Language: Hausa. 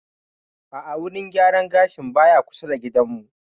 A'a wurin gyaran gashin baya kusa da gidan mu